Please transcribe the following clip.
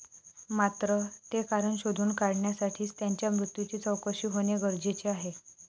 मात्र, ते कारण शोधून काढण्यासाठीच त्यांच्या मृत्यूची चौकशी होणे गरजेचे आहे.